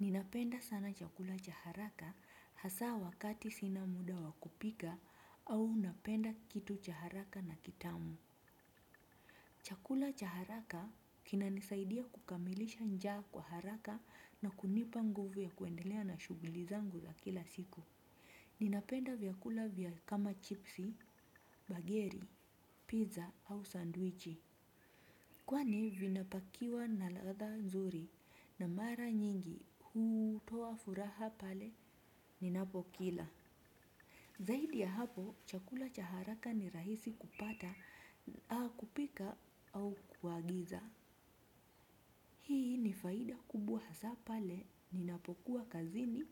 Ninapenda sana chakula cha haraka hasa wakati sina muda wa kupika au napenda kitu cha haraka na kitamu. Chakula cha haraka kinanisaidia kukamilisha njaa kwa haraka na kunipa nguvu ya kuendelea na shughuli zangu za kila siku. Ninapenda vyakula vya kama chipsi, bageri, pizza au sandwichi. Kwani vinapakiwa na ladha nzuri na mara nyingi hutoa furaha pale ninapokila. Zaidi ya hapo chakula cha haraka ni rahisi kupata, au kupika au kuagiza. Hii ni faida kubwa hasa pale ninapokuwa kazini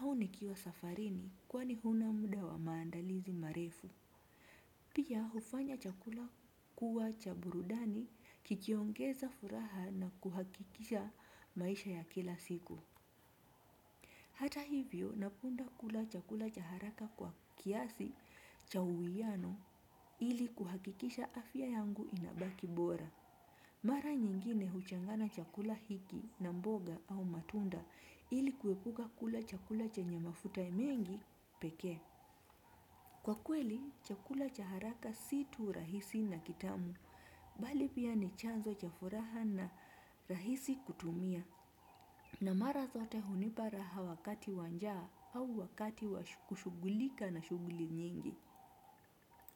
au nikiwa safarini kwani huna muda wa maandalizi marefu. Pia hufanya chakula kuwa cha burudani kikiongeza furaha na kuhakikisha maisha ya kila siku. Hata hivyo napenda kula chakula cha haraka kwa kiasi cha uwiano ili kuhakikisha afya yangu inabaki bora. Mara nyingine huchanganya chakula hiki na mboga au matunda ili kuepuka kula chakula chenye mafuta mengi pekee. Kwa kweli, chakula cha haraka si tu rahisi na kitamu, bali pia ni chanzo cha furaha na rahisi kutumia, na mara zote hunipa raha wakati wa njaa au wakati kushughulika na shughuli nyingi.